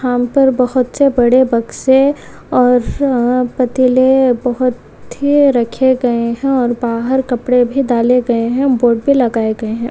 यहाँ पर बहुत से बड़े बक्से और पतीले बहुत ही रखे गए हैं और बाहर कपड़े भी डाले गए हैं बोर्ड पे लगाए गए हैं।